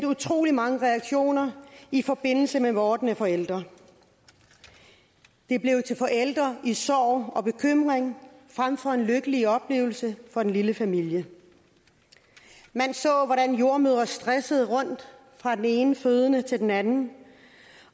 utrolig mange reaktioner i forbindelse med vordende forældre det blev til forældre i sorg og bekymring frem for en lykkelig oplevelse for den lille familie man så hvordan jordemødre stressede rundt fra den ene fødende til den anden